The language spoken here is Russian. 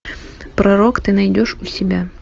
пророк ты найдешь у себя